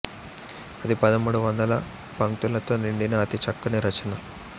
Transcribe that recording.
అది పదమూడు వందల పంక్తులతో నిండిన అతి చక్కని రచన